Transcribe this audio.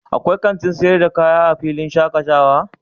akwai kanti sayar da kaya a filin shakatawa?